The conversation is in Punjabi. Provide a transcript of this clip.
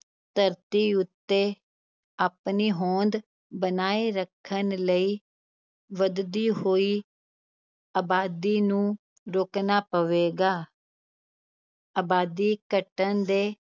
ਧਰਤੀ ਉੱਤੇ ਆਪਣੀ ਹੌਂਦ ਬਣਾਏ ਰੱਖਣ ਲਈ ਵਧਦੀ ਹੋਈ ਅਬਾਦੀ ਨੂੰ ਰੋਕਣਾ ਪਵੇਗਾ ਅਬਾਦੀ ਘਟਣ ਦੇ